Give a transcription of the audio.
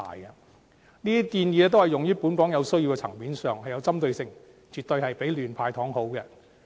這些建議均用於本港有需要的層面上，有針對性，絕對比亂"派糖"好。